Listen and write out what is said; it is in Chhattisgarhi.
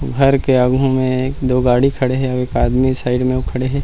घर के आघु मे दो गाड़ी खड़े हे अउ एक आदमी साइड मे खड़े हे।